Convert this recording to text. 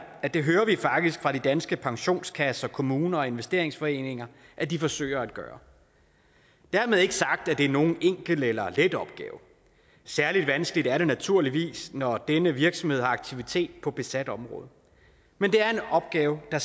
at det hører vi faktisk fra de danske pensionskasser kommuner og investeringsforeninger at de forsøger at gøre dermed ikke sagt at det er nogen enkel eller let opgave særlig vanskeligt er det naturligvis når denne virksomhed har aktivitet på besat område men det er en opgave der